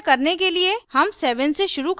ऐसा करने के लिए हम 7 से शुरू करते हैं